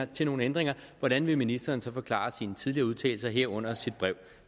til nogen ændringer hvordan vil ministeren så forklare sine tidligere udtalelser herunder sit brev